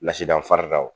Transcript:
Lasidan farida wo